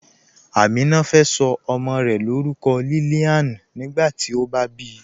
Amina fẹ́ so ọmọ́ rẹ̀ lórúkọ̀ Lillian nígbàtí ó bá bí